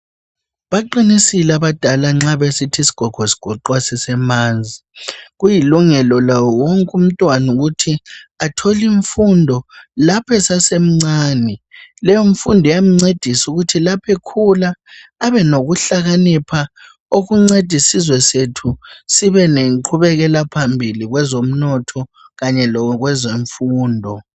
baqinisile abadala nxa besithi isigogo sigoqwa sisemanzi kuyilungelo lawo wonke umntwana ukuthi athole imfundo lapho esasemncane leyo mfundo iyamncedisa ukuthi lapho ekhula abe nokuhlakanipha okunceda isizwe sethu sibe lenqubeka phambili kwezomnotho kanye lakwezemfundo